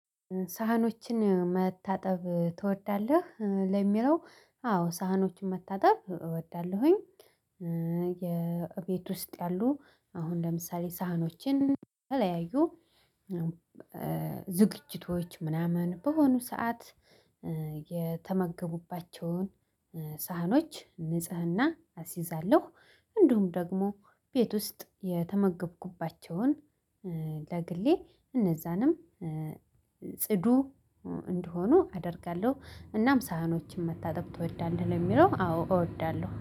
ሳህኖችን መታጠብ ትወዳለህ? እ ለሚለው አዎ ሳህኖችን መታጠብ እወዳለሁኝ። እ የቤት ውስጥ ያሉ አሁን ለምሳሌ ሳህኖችን የተለያዩ እም እ ዝግጅቶች ምናምን በሆኑ ሰዓት እ የተመገቡባቸውን እ ሳህኖች ንጽህና አስይዛለሁ። እንዲሁም ደግሞ ቤት ውስጥ የተመገብኩባቸውን እ ለግሌ እነዛንም እ ጽዱ እንዲሆኑ አደርጋለሁ። እናም ሳህኖችን መታጠብ ትወዳለህ? ለሚለው አዎ እወዳለሁ